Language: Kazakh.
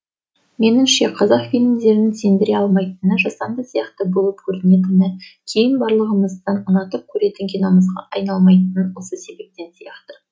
меніңше қазақ фильмдерінің сендіре алмайтыны жасанды сияқты болып көрінетіні кейін барлығымыздың ұнатып көретін киномызға айналмайтыны осы себептен сияқты